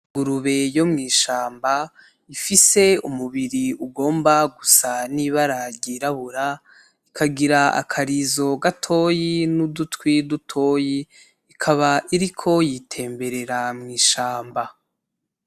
Ingurube yo mw'ishamba ifise umubiri ugomba gusa n'ibara ryirabura, ikagira akarizo gatoyi n'udutwi dutoyi ikaba iriko yitemberera mw'ishamba.